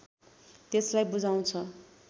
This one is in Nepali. त्यसलाई बुझाउँछ